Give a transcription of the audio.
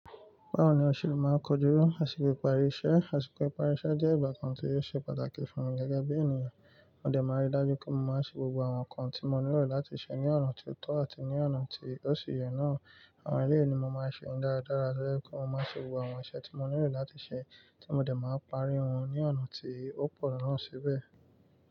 Báwo ni ò se máa ń kojú àsìkò ìparí iṣẹ́? Àsìkò ìparí iṣẹ́ jẹ́ ìgbà kan tí ó ṣe pàtàkì fún mi gẹ́gẹ́ bí ènìyàn. Mo dẹ̀ máa n rí dájú pé mo máa ṣe gbogbo àwọn nǹkan tí mo nílò láti ṣe ní ọ̀nà tó tọ́ àti ní ọ̀nà tí ó si yẹ náà. Àwọn ẹlẹ́yìí ni mo máa ṣe dáradára tọ́jẹ́ pé mo má ṣe gbogbo àwọn iṣẹ́ tí mo nílò láti ṣe tí mo dẹ̀ máa parí wọ́n ní ọ̀nà tí ó pọ̀ náà síbẹ̀.